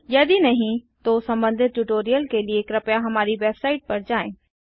यदि नहीं तो संबंधित ट्यूटोरियल के लिए कृपया हमारी वेबसाइट पर जाएँ